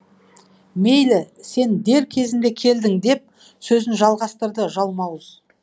мейлі сен дер кезінде келдің деп сөзін жалғастырды жалмауыз